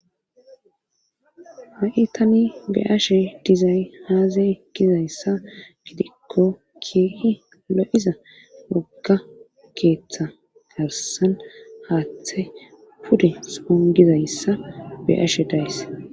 ha7i tani be ashe dizay haazay gizayssa gidikko kiei lo7iza mogga keeththa garsan haaththe pude son gizayssa beashe days